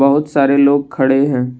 बहुत सारे लोग खड़े है।